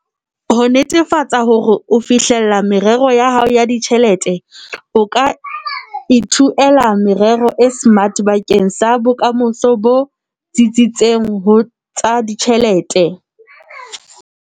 Ho netefatsa hore o fihlella merero ya hao ya ditjhelete, o ka ithuela merero e SMART bakeng sa bokamoso bo tsitsitseng ho tsa ditjhelete.